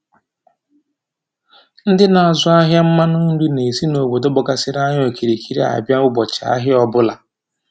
Ndị na-azụ ahịa mmanụ nri na-esi na obodo gbagasịrị anyị okirikiri a bịa ụbọchị ahịa ọbụla